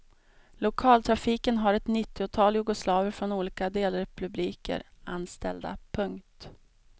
Lokaltrafiken har ett nittiotal jugoslaver från olika delrepubliker anställda. punkt